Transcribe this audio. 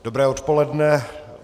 Dobré odpoledne.